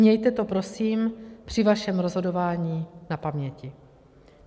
Mějte to prosím při svém rozhodování na paměti.